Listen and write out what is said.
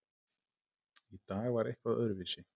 Í dag var eitthvað öðruvísi.